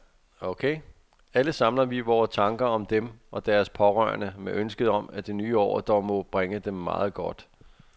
Alle samler vi vore tanker om dem og deres pårørende med ønsket om, at det nye år dog må bringe dem meget godt.